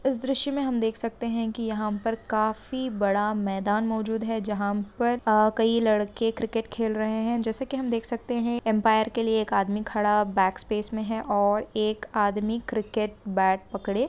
इस दृश्य में हम देख सकते हे की यहाँ पर काफी बड़ा मैदान मौजूद हे जहा पर कही लड़के क्रिकेट खेल रहे हे जेसे की हम देख सकते हे अम्पायर के लिय एक आदमी खड़ा बेक स्पेस में हे और एक आदमी क्रिकेट बैट पकड़े--